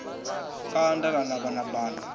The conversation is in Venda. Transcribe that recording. kanda ḽa navha na banda